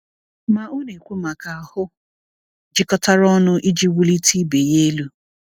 Ma ọ na-ekwu maka ahụ jikọtara ọnụ iji wulite ibe ya elu.